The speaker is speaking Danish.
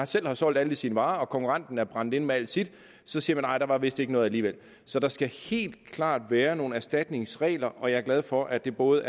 selv har solgt alle sine varer og konkurrenten er brændt inde med alle sine så siger nej der var vist ikke noget alligevel så der skal helt klart være nogle erstatningsregler og jeg er glad for at det både